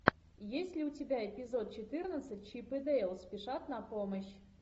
есть ли у тебя эпизод четырнадцать чип и дейл спешат на помощь